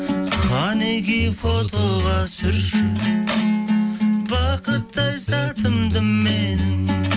қанекей фотоға түсірші бақытты ай сәтімді менің